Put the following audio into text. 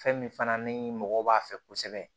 Fɛn min fana ni mɔgɔ b'a fɛ kosɛbɛ